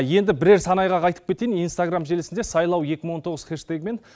енді бірер сан айғақ айтып кетейін инстаграм желісінде сайлау екі мың он тоғыз хэштегімен